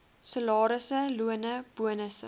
salarisse lone bonusse